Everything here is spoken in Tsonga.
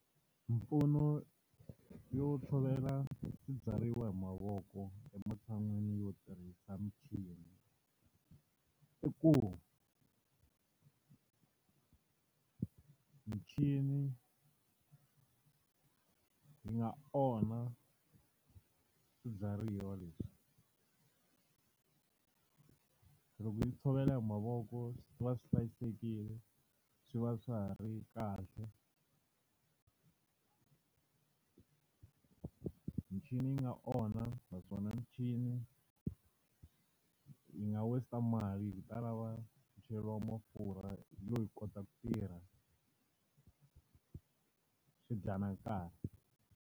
Mimpfuno yo tshovela swibyariwa hi mavoko ematshan'wini yo tirhisa michini, i ku muchini yi nga onha swibyariwa leswi. Se loko hi tshovela hi mavoko swi va swi hlayisekile, swi va swa ha ri kahle. Michini yi nga onha naswona michini yi nga waste-a mali hikuva yi ta lava ku cheriwa mafurha yo yi kota ku tirha, swi dya na nkarhi.